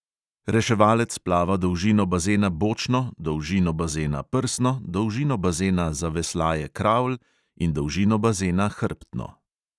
Reševalec plava dolžino bazena bočno, dolžino bazena prsno, dolžino bazena zaveslaje kravl in dolžino bazena hrbtno.